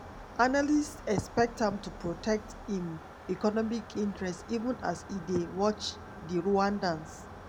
analysts expect am to protect im economic interests even as e dey watch di rwandans.